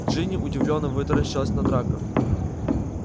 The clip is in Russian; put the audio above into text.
джинни удивлённо вытаращилась на драко